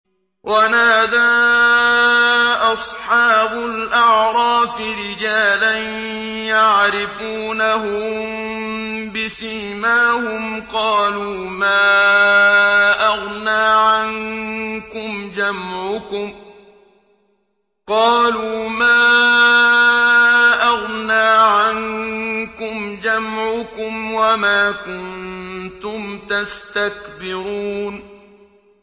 وَنَادَىٰ أَصْحَابُ الْأَعْرَافِ رِجَالًا يَعْرِفُونَهُم بِسِيمَاهُمْ قَالُوا مَا أَغْنَىٰ عَنكُمْ جَمْعُكُمْ وَمَا كُنتُمْ تَسْتَكْبِرُونَ